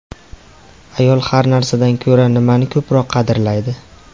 Ayol har narsadan ko‘ra nimani ko‘proq qadrlaydi?